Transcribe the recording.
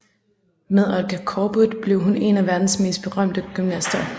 Med Olga Korbut blev hun en af verdens mest berømte gymnaster